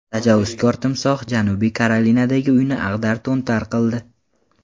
Tajovuzkor timsoh Janubiy Karolinadagi uyni ag‘dar-to‘ntar qildi .